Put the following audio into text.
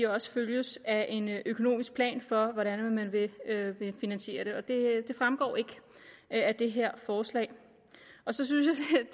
også følges af en økonomisk plan for hvordan man vil finansiere det men det fremgår ikke af det her forslag så synes